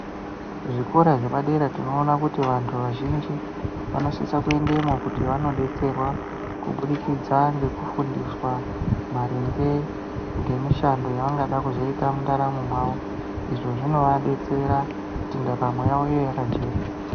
Zvikora zvepadera tinoona kuti vantu vazhinji vanosisa kuendemwo kuti vanodetserwa kubudikidza ngekufundiswa maringe ngemishando yavangada kuzita mundaramo mwawo izvo zvinovadetsera kuti ndaramo yavo inge yakajeka.